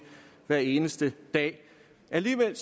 hver eneste dag alligevel